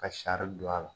Ka sari don a la